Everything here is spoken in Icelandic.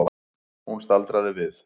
Hún staldraði við.